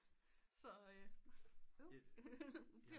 Så øh nej øv